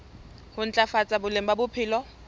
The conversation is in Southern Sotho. ho ntlafatsa boleng ba bophelo